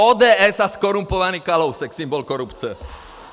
ODS a zkorumpovaný Kalousek, symbol korupce.